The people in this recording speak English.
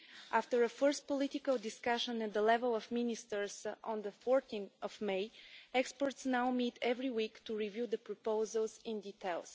After a first political discussion at the level of Ministers on 14 May, experts now meet every week to review the proposals in detail.